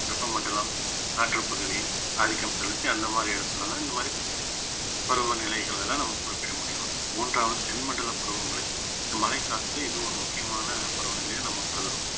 வெப்பமண்டலம் காற்றுப் பகுதி ஆதிக்கம் செலுத்தி அந்த மாதிரி இடத்துலதான் இந்த மாதிரி பருவநிலைகள்ல நம்ம குறிப்பிட முடியும் மூன்றாவது தென் மண்டல பருவமழை இந்த மழைக்காலத்துல இது ஒரு முக்கியமான பருவநிலையா நம்ம கருதுறோம்